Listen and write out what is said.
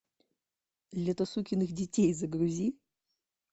лето сукиных детей загрузи